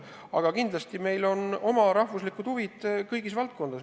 Aga kindlasti meil on ka oma rahvuslikud huvid kõigis valdkondades.